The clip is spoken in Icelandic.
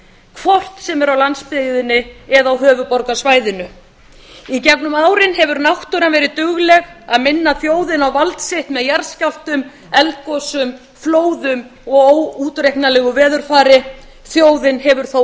hvort sem er á landsbyggðinni eða á höfuðborgarsvæðinu í gegnum árin hefur náttúran verið dugleg að minna þjóðina á vald sitt með jarðskjálftum eldgosum flóðum og óútreiknanlegu veðurfari þjóðin hefur þó